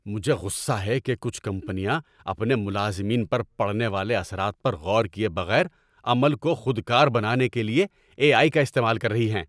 مجھے غصہ ہے کہ کچھ کمپنیاں اپنے ملازمین پر پڑنے والے اثرات پر غور کیے بغیر عمل کو خودکار بنانے کے لیے اے آئی کا استعمال کر رہی ہیں۔